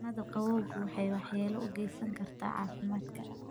Cunnada qabowgu waxay waxyeello u geysan kartaa caafimaadka.